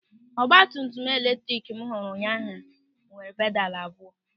Ọgbatumtum eletrik m hụrụ ụnyaahụ nwere pedalụ abụọ.